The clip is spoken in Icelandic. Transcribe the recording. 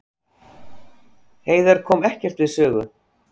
Heiðar kom ekkert við sögu